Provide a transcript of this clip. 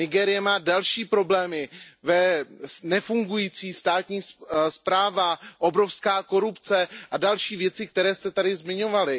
Nigérie má další problémy, nefungující státní správa, obrovská korupce a další věci, které jste tady zmiňovali.